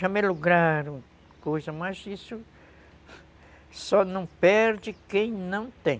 Já me lograram coisa, mas isso... Só não perde quem não tem.